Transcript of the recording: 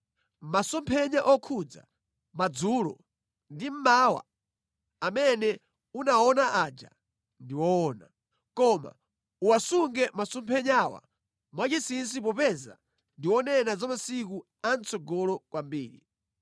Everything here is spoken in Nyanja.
“Masomphenya okhudza madzulo ndi mmawa amene unawaona aja ndi woona, koma uwasunge masomphenyawa mwachinsinsi popeza ndi onena za masiku a mʼtsogolo kwambiri.”